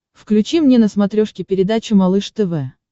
включи мне на смотрешке передачу малыш тв